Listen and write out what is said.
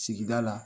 Sigida la